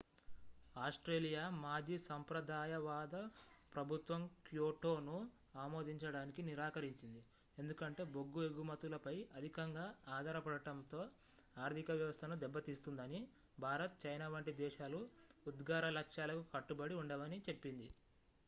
Australia మాజీ సంప్రదాయవాద ప్రభుత్వం క్యోటోను ఆమోదించడానికి నిరాకరించింది ఎందుకంటే బొగ్గు ఎగుమతులపై అధికంగా ఆధారపడటంతో ఆర్థిక వ్యవస్థను దెబ్బతీస్తుందని భారత్ చైనా వంటి దేశాలు ఉద్గార లక్ష్యాలకు కట్టుబడి ఉండవని చెప్పింది